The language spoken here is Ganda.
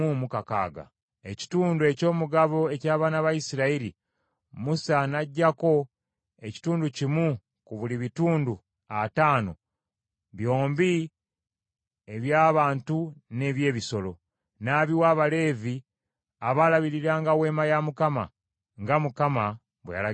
Ekitundu eky’omugabo eky’abaana ba Isirayiri, Musa n’aggyako ekitundu kimu ku buli bitundu ataano byombi eby’abantu n’eby’ebisolo, n’abiwa Abaleevi abaalabiriranga Weema ya Mukama , nga Mukama bwe yalagira Musa.